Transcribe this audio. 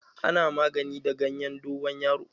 Ana magani da gayen dogon yaro